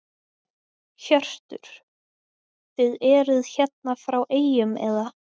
Hjörtur: Þið eruð hérna frá eyjum eða?